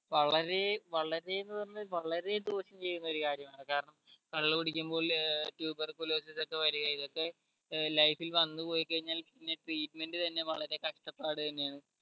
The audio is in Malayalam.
വളരെ വളരെന്ന് പറഞ്ഞ വളരെ ദോഷം ചെയ്യുന്ന ഒരു കാര്യം ആണ് കാരണം കള്ള് കുടിക്കുമ്പോ ഇല്ല ഒക്കെ വരുക ഇതൊക്കെ ഏർ life ൽ വന്ന് പോയി കഴിഞ്ഞാൽ പിന്നെ treatment തന്നെ വളരെ കഷ്ട്ടപാട് തന്നെ ആണ്